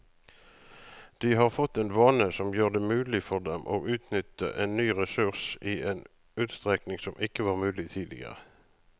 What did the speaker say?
De har fått en vane som gjør det mulig for dem å utnytte en ny ressurs i en utstrekning som ikke var mulig tidligere.